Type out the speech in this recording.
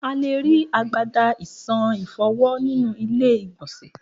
A lé ri agbada esan ìfọwó nínú ilé ìgbònsè